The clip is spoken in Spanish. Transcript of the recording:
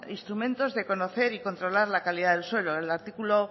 instrumento de conocer y controlar la calidad del suelo el artículo